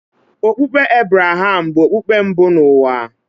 Okpukpe Ebreham bụ okpukpe mbụ n’ụwa.